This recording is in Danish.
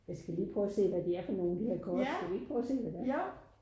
Jeg skal lige prøve og se hvad de er for nogle de her kort skal vi ikke prøve at se hvad det er?